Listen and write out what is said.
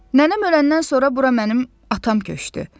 Nənəm öləndən sonra bura mənim atam köçdü.